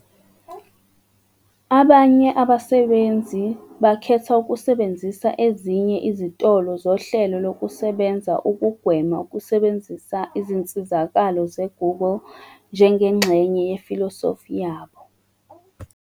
Abanye abasebenzisi bakhetha ukusebenzisa ezinye izitolo zohlelo lokusebenza ukugwema ukusebenzisa izinsizakalo ze-Google njengengxenye yefilosofi yabo.